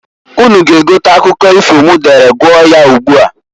Unu ga egote akwụkwọ ifo m dere gụọ ya ugbua.